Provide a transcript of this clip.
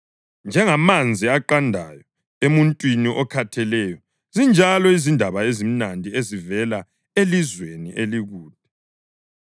Njengamanzi aqandayo emuntwini okhatheleyo, zinjalo izindaba ezimnandi ezivela elizweni elikude.